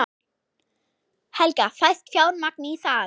Helga: Fæst fjármagn í það?